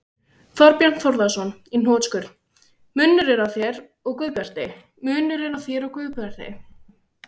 Þorbjörn Þórðarson: Í hnotskurn: Munurinn á þér og Guðbjarti?